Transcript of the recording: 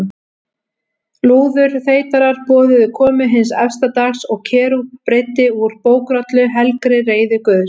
Lúðurþeytarar boðuðu komu hins efsta dags og Kerúb breiddi úr bókrollu, helgri reiði Guðs.